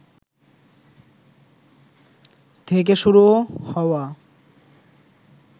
থেকে শুরু হওয়া